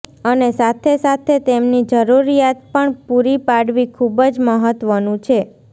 અને સાથે સાથે તેમની જરૂરિયાત પણ પુરી પાડવી ખૂબ જ મહત્વનું છે